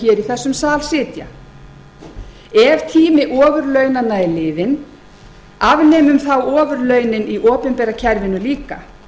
í þessum sal sitja ef tími ofurlaunanna er liðinn afnemum þá ofurlaunin í opinbera kerfinu líka